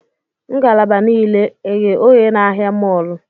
Ngalaba niile eghe oghe na ahịa mọọlụ?